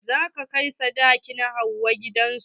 Zan kai sadakin Hauwa gidan su.